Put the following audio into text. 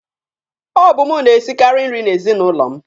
Ọ bụ mụ na-esikaari nri n'ezinụlọ mụ.